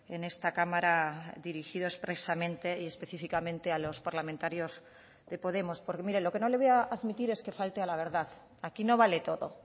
en esta cámara dirigido expresamente y específicamente a los parlamentarios de podemos porque mire lo que no le voy a admitir es que falte a la verdad aquí no vale todo